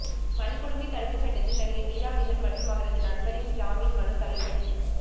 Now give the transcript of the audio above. வன்கொடுமை தடுப்பு சட்டத்தில் நடிகை மீரா மிதுன் மற்றும் அவரது நண்பரின் ஜாமீன் மனு தள்ளுபடி